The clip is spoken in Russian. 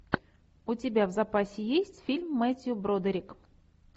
у тебя в запасе есть фильм мэттью бродерик